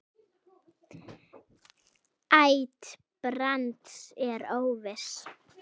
Ætt Brands er óviss.